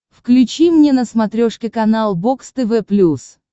включи мне на смотрешке канал бокс тв плюс